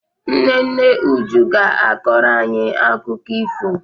Nne nne Uju ga-akọrọ anyị akụkọ ifo